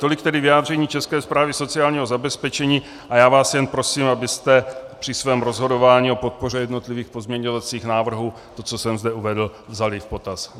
Tolik tedy vyjádření České správy sociálního zabezpečení a já vás jen prosím, abyste při svém rozhodování o podpoře jednotlivých pozměňovacích návrhů to, co jsem zde uvedl, vzali v potaz.